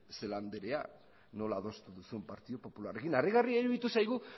celaá andrea nola adostu duzun partidu popularrarekin harrigarria iruditu zaigu